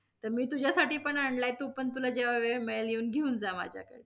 तर मी तुझ्यासाठी पण आणलाय, तू पण, तुला जेव्हा वेळ मिळेल येऊन घेऊन जा माझ्या कडे.